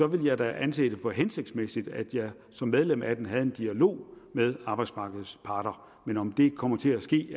ville jeg da anse det for hensigtsmæssigt at jeg som medlem af den havde en dialog med arbejdsmarkedets parter men om det kommer til at ske